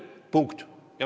Punkt.